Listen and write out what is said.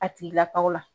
A tigilakaw la